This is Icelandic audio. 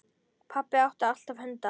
Pabbi átti alltaf hunda.